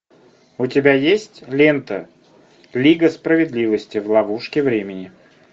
у тебя есть лента лига справедливости в ловушке времени